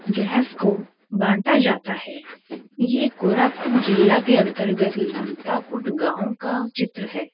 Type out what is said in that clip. Gas को बांटा जाता है ये कोरापुट जिला के अंतर्गत लंकापुरी गांव का चित्र है।